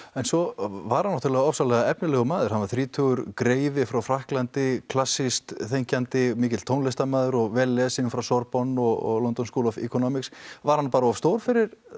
en svo var hann ofsalega efnilegur maður hann var þrítugur greifi frá Frakklandi klassískt þenkjandi mikill tónlistarmaður og vel lesinn frá Sorbonne og London school of Economics var hann bara of stór fyrir